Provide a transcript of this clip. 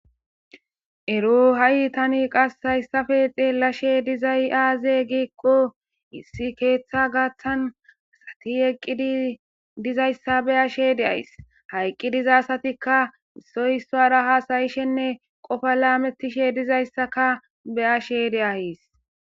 Ero tani qas hayisape xelashe dizayis aze giiko issi ketha garisan asati eqidi dizaysa be'ashe de'ays ha eqidi diza asayka issoy isara hasa'ishen qopa lametishe dizayisaka be'ashe de'ays